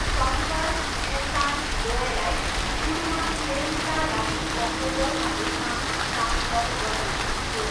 शङ्कर, एहसान, लोयलाई सुरुमा फिल्मका लागि कम्पोजरका रूपमा हस्ताक्षर गरिएको थियो।